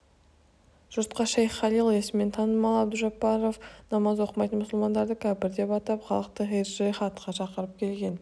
жұртқа шейх халил есімімен танымал абдужаббаров намаз оқымайтын мұсылмандарды кәпір деп атап халықты жиһадқа шақырып келген